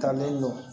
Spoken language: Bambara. Taalen jɔ